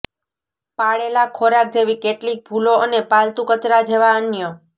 પાળેલાં ખોરાક જેવી કેટલીક ભૂલો અને પાલતુ કચરા જેવા અન્ય